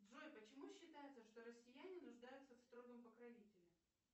джой почему считается что россияне нуждаются в строгом покровителе